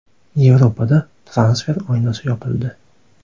Yevropada transfer oynasi yopildi.